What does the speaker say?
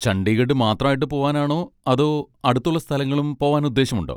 ചണ്ഡീഗഢ് മാത്രമായിട്ട് പോവാനാണോ അതോ അടുത്തുള്ള സ്ഥലങ്ങളും പോവാൻ ഉദ്ദേശമുണ്ടോ?